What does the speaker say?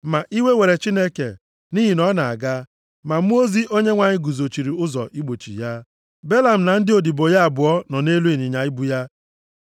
Ma iwe were Chineke nʼihi na ọ na-aga, ma mmụọ ozi Onyenwe anyị guzochiri ụzọ igbochi ya. Belam na ndị odibo ya abụọ nọ na-elu ịnyịnya ibu ya.